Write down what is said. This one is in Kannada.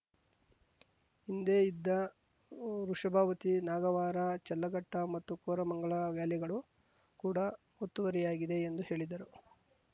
ಹಿಂದೆ ಇದ್ದ ವೃಷಭಾವತಿ ನಾಗವಾರ ಚಲ್ಲಘಟ್ಟಮತ್ತು ಕೋರಮಂಗಲ ವ್ಯಾಲಿಗಳು ಕೂಡ ಒತ್ತುವರಿಯಾಗಿದೆ ಎಂದು ಹೇಳಿದರು